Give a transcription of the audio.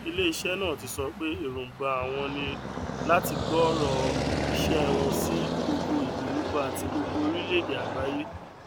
ilé iṣẹ náà ti sọ pé èròǹgbà àwọn ní láti gbòòrò iṣẹ wọn sí gbogbo ìgbèríko àti gbogbo orílẹèdè àgbáyé